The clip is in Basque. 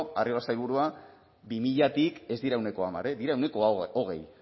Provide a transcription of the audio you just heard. arriola sailburua bi milatik ez dira ehuneko hamar dira ehuneko hogei